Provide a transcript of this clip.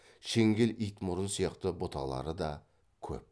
шеңгел итмұрын сияқты бұталары да көп